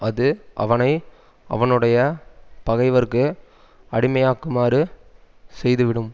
அஃது அவனை அவனுடைய பகைவர்க்கு அடிமையாகுமாறு செய்துவிடும்